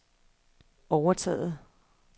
overtaget